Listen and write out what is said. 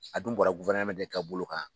A dun bɔra de ka bolo kan.